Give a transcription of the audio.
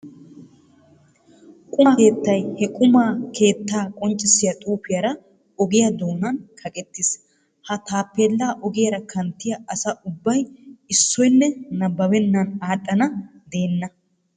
Quma keettay he quma keettaa qonccissiya xuufiyara ogiya doonan kaqettiis. Ha taappeellaa ogiyara kanttiya asa ubbay issoynne nabbabennan aadhdhana deenna.